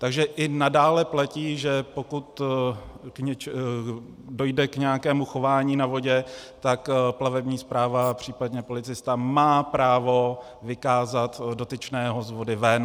Takže i nadále platí, že pokud dojde k nějakému chování na vodě, tak plavební správa, případně policista má právo vykázat dotyčného z vody ven.